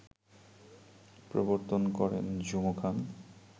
প্রবর্তন করেন ঝুমু খান